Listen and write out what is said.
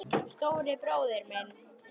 Stóri bróðir minn.